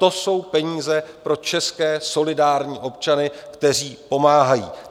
To jsou peníze pro české solidární občany, kteří pomáhají.